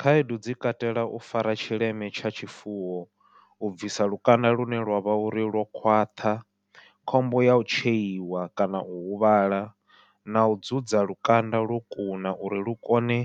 Khaedu dzi katela u fara tshileme tsha tshifuwo, u bvisa lukanda lune lwavha uri lwo khwaṱha, khombo yau tsheiwa, kana u huvhala nau dzudza lukanda lwo kuna uri lu kone